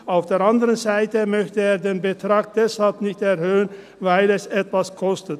Auf der anderen Seite möchte er den Betrag deshalb nicht erhöhen, weil es etwas kostet.